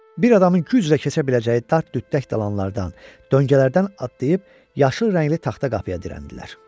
Bir adamın güclə keçə biləcəyi dart-düttək dalanlardan, döngələrdən atlayıb yaşıl rəngli taxta qapıya dirəndilər.